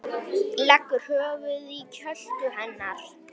Leggur höfuðið í kjöltu hennar.